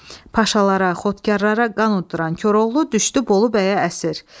Paşalara, xotkarlara qan udduran Koroğlu düşdü Bolu bəyə əsir.